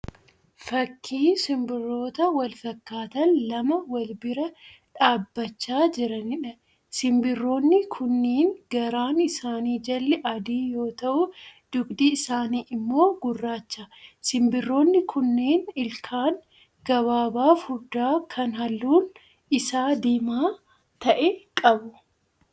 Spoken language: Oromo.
Fakkii simbirroota wal fakkaatan lama wal bira dhaabbachaa jiraniidha. Simbirroonni kunneen garaan isaanii jalli adii yoo ta'u dugdi isaanii immoo gurraacha. Simbirroonni kunneen ilkaan gabaabaa furdaa kan halluun isaa diimaa ta'e qabu.